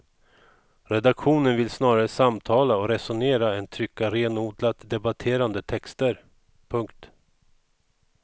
Redaktionen vill snarare samtala och resonera än trycka renodlat debatterande texter. punkt